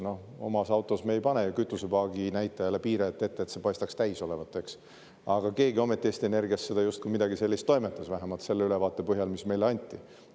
Noh, oma autos me ei pane ju kütusepaagi näitajale piirajat ette, et paistaks täis olevat, aga keegi ometi Eesti Energias justkui midagi sellist toimetas, vähemalt selle ülevaate põhjal, mis meile anti.